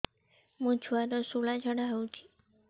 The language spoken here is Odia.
ମୋ ଛୁଆର ସୁଳା ଝାଡ଼ା ହଉଚି